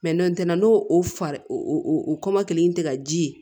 n'o tɛ n'o o farin o o o kɔ kelen in tɛ ka ji ye